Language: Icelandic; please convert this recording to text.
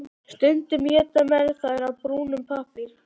Stundum éta menn þær af brúnum pappír.